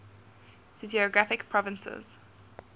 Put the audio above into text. physiographic provinces